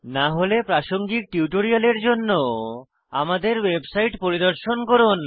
না হলে প্রাসঙ্গিক টিউটোরিয়ালের জন্য আমাদের ওয়েবসাইট পরিদর্শন করুন